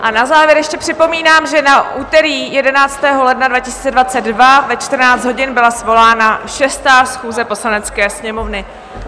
A na závěr ještě připomínám, že na úterý 11. ledna 2022 ve 14 hodin byla svolána 6. schůze Poslanecké sněmovny.